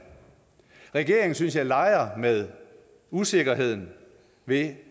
regeringen synes jeg leger med usikkerheden ved